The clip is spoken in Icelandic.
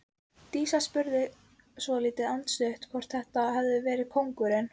Dísa spurði svolítið andstutt hvort þetta hefði verið kóngurinn.